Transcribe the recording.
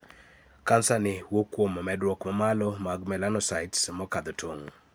Kansani wuok kuom medruok mamalo mag 'melanocytes' mokadho tong'.